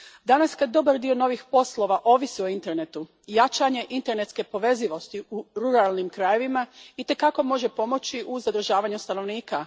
Danas, kad dobar dio novih poslova ovisi o internetu, jačanje internetske povezivosti u ruralnim krajevima itekako može pomoći u zadržavanju stanovnika.